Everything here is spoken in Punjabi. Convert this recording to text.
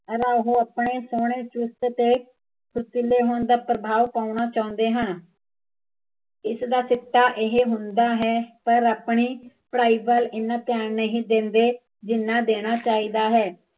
ਅਰ ਉਹ ਆਪਣੇ ਸੋਹਣੇ ਚੁਸਤ ਤੇ ਪੁਤਲੇ ਹੋਣ ਦਾ ਪ੍ਰਭਾਵ ਪਾਉਣਾ ਚਾਉਂਦੇ ਹਨ ਇਸ ਦਾ ਸਿੱਟਾ ਇਹ ਹੁੰਦਾ ਹੈ, ਪਰ ਆਪਣੀ ਪੜਾਈ ਵੱਲ ਇੰਨਾ ਧਿਆਨ ਨਹੀਂ ਦਿੰਦੇ ਜਿੰਨਾ ਦੇਣਾ ਚਾਹੀਦਾ ਹੈ